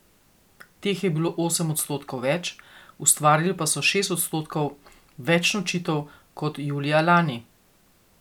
Teh je bilo osem odstotkov več, ustvarili pa so šest odstotkov več nočitev kot julija lani.